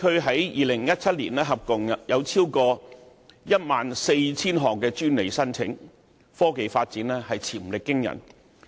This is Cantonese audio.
在2017年，杭州高新區共有超過 14,000 項專利申請，科技發展潛力驚人。